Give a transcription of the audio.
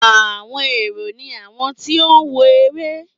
Àwọn èrò ni àwọn tí ó ń wo eré